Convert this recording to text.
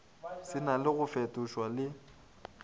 se na go fetošwa le